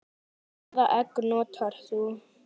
Hvaða egg notar þú?